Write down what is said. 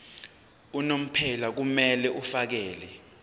unomphela kumele afakele